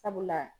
Sabula